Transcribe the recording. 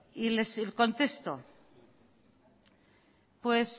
y les contesto pues